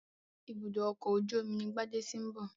Ibùdó ọkọ̀ ojú omi ni Gbádé ti ń bọ̀.